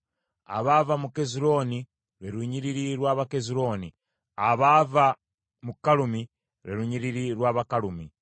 abaava mu Kezulooni, lwe lunyiriri lw’Abakezulooni; abaava mu Kalumi, lwe lunyiriri lw’Abakalumi.